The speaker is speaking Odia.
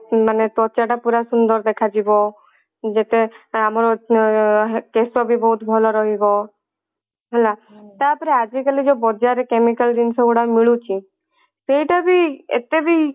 ମାନେ ତ୍ଵଚା ଟା ପୁରା ସୁନ୍ଦର ଦେଖା ଯିବ ଯେତେ ଆମର ଏ କେଶ ବି ବହୁତ ଭଲ ରହିବ ହେଲା ତାପରେ ଆଜି କାଲି ଯଉ ବଜାର ରେ chemical ଜିନିଷ ଗୁଡା ମିଳୁଛି ସେଇଟା ବି ଏତେ ବି